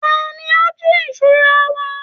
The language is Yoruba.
Tani ó ń jí ìṣura wa?